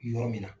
Yɔrɔ min na